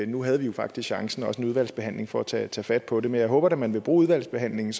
nu havde vi jo faktisk chancen og en udvalgsbehandling for at tage fat på det men jeg håber da at man vil bruge udvalgsbehandlingen